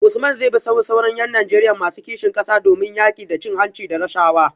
Usman zai bi sahun sauran ‘yan Najeriya masu kishin kasa domin yaki da cin hanci da rashawa?